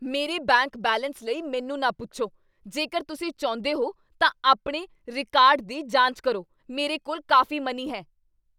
ਮੇਰੇ bank balance ਲਈ ਮੈਨੂੰ ਨਾ ਪੁੱਛੋ। ਜੇਕਰ ਤੁਸੀਂ ਚਾਹੁੰਦੇ ਹੋ ਤਾਂ ਆਪਣੇ ਰਿਕਾਰਡ ਦੀ ਜਾਂਚ ਕਰੋ। ਮੇਰੇ ਕੋਲ ਕਾਫ਼ੀ ਮਨੀ ਹੈ।